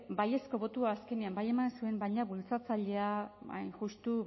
hombre baiezko botoa azkenean bai eman zuen baina bultzatzailea hain justu